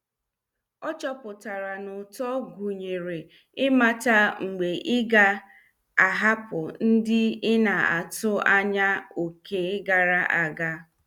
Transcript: Ọ chọpụtara n' ụtọ gụnyere ịmata mgbe ịga- ahapụ ndị ina- atụ anya oké gara aga.